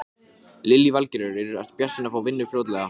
Sérðu fram á að þurfa að breyta miklu hjá Val?